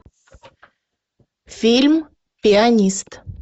фильм пианист